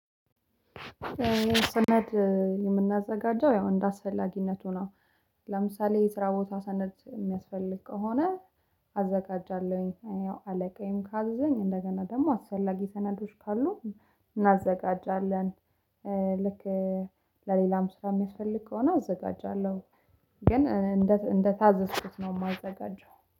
ሰነድ የምናዘጋጀው ያው እንደ አስፈላጊነቱ ነው። ለምሳሌ የስራ ቦታ ሰነድ የሚያስፈልግ ከሆነ አዘጋጃለሁኝ። አለቃዬም ካዘዘኝ እንደገና ደግሞ አስፈላጊ ሰነዶች ካሉ እናዘጋጃለን። ልክ ለሌላም ስራ የሚያስፈልግ ከሆነ አዘጋጃለሁ። ግን እንደ እንደታዘዝኩት ነው የማዘጋጀው